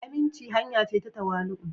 aminci hanya ce ta tawali'u.